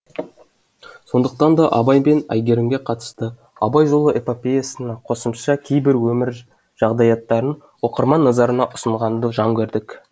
сондықтан да абай мен әйгерімге қатысты абай жолы эпопеясына қосымша кейбір өмір жағдаяттарын оқырман назарына ұсынғанды жөн көрдік